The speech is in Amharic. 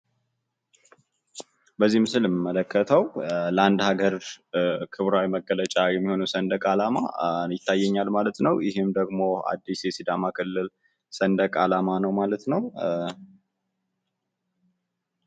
በዚህ ምስል የምመለከተው ለአንድ ሀገር ክብራዊ መገለጫ የሆነው ሰንደቅ አላማ ይታየኛል ማለት ነው። ይህም ደሞ አዲስ የሲዳማ ክልል ሰንደቅ አላማ ነው ማለት ነው።